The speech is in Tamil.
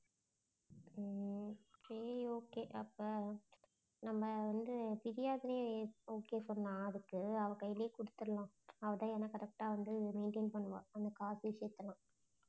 உம் okay okay அப்போ நம்ம வந்து திவ்யாக்கே okay சொன்னா அதுக்கு அவள் கையிலயே குடுத்துடலாம். அவள் தான் correct ஆ வந்து maintain பண்ணுவா அந்த காசு விஷயத்தெல்லாம்.